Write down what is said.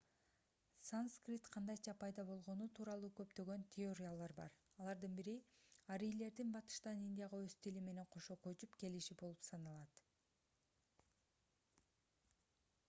санскрит кандайча пайда болгону тууралуу көптөгөн теориялар бар алардын бири арийлердин батыштан индияга өз тили менен кошо көчүп келиши болуп саналат